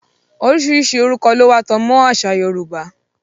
Oríṣiríṣi orúkọ lówà tó tanmọ́ àṣà Yorùbá.